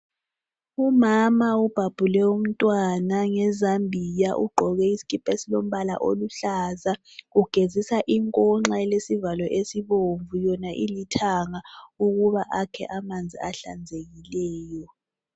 Umama ubhabhule umntwana ngezambiya ugqoke isikipa esilombala oluhlaza ugezisa inkonxa elesivalo esibomvu yona ilithanga ukuba akhe amanzi ahlazekileyo.